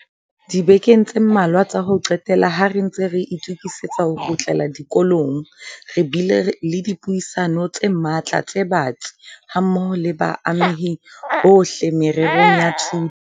Dibekeng tse mmalwa tsa ho qetela, ha re ntse re itokisetsa ho kgutlela dikolong, re bile le dipuisano tse matla tse batsi hammoho le baamehi bohle mererong ya thuto.